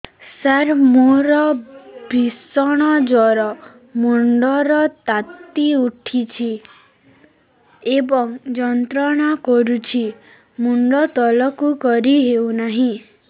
ସାର ମୋର ଭୀଷଣ ଜ୍ଵର ମୁଣ୍ଡ ର ତାତି ଉଠୁଛି ଏବଂ ଯନ୍ତ୍ରଣା କରୁଛି ମୁଣ୍ଡ ତଳକୁ କରି ହେଉନାହିଁ